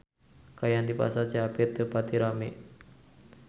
Kaayaan di Pasar Cihapit teu pati rame